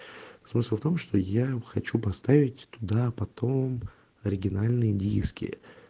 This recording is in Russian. смысл в том что я хочу поставить туда потом оригинальные диски